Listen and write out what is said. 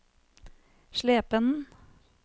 Slependen